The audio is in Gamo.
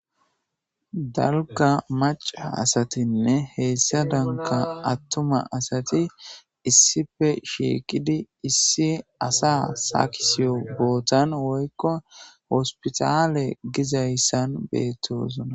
Dalgga macca assathinne hessadanka attuma assathi issipe shiqidd issi assa sakiswo bothan woykko hospiththalle gizayssan bethossona.